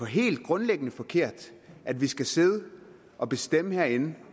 helt grundlæggende forkert at vi skal sidde og bestemme herinde